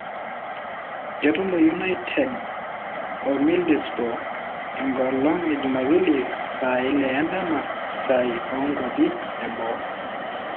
Ketumo United o Middlesbrough enkolong e jumapili saa ile endama sai o nkwapi eboo.